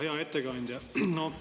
Hea ettekandja!